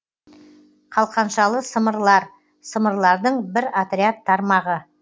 қалқаншалы сымырлар сымырлардың бір отряд тармағы